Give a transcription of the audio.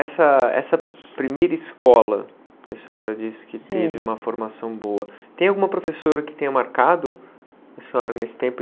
Essa essa primeira escola, que a senhora disse que teve uma formação boa, tem alguma professora que tenha marcado a senhora nesse tempo?